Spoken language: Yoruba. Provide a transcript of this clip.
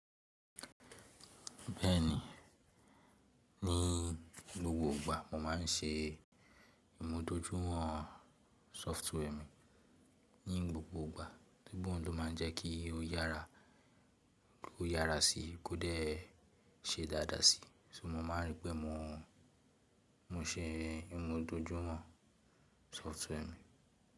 Bẹ́ẹ̀ni, ni gbogbo ìgbà mo máa ń ṣe ìmúdójúwọ̀n software mi. Ní gbogbo ìgbà, gbogbo ń lo ma ń jẹ́ kí ó yára, ló yára sí i, kó dẹ̀ ṣe dáadáa sí i. So mo máa ń rí pé mo, mo ṣe ìmúdójúwọ̀n software mi.